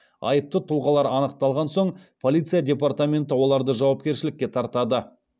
айыпты тұлғалар анықталған соң полиция департаменті оларды жауапкершілікке тартады